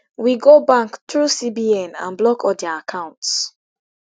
we go bank through cbn and block all dia accounts